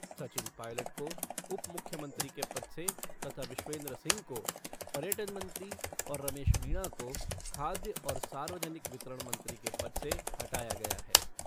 सचिन पॉयलट को उप मुख्यमंत्री के पद से तथा विश्वेन्द्र सिंह को पर्यटन मंत्री और रमेश मीणा को खाद्य और सार्वजनिक वितरण मंत्री के पद से हटाया गया है।